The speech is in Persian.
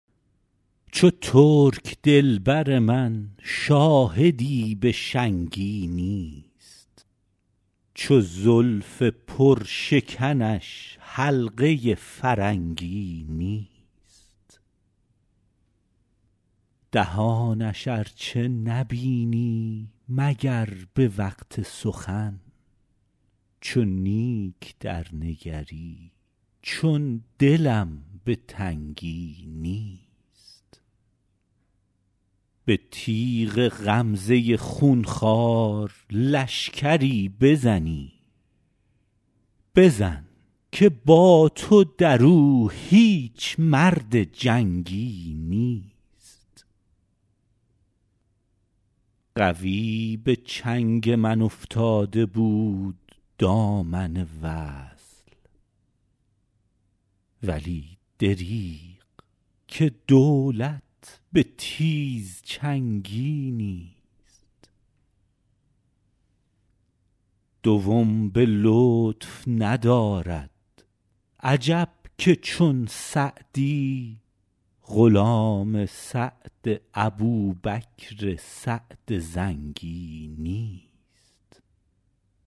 چو ترک دل بر من شاهدی به شنگی نیست چو زلف پرشکنش حلقه فرنگی نیست دهانش ار چه نبینی مگر به وقت سخن چو نیک درنگری چون دلم به تنگی نیست به تیغ غمزه خون خوار لشکری بزنی بزن که با تو در او هیچ مرد جنگی نیست قوی به چنگ من افتاده بود دامن وصل ولی دریغ که دولت به تیزچنگی نیست دوم به لطف ندارد عجب که چون سعدی غلام سعد ابوبکر سعد زنگی نیست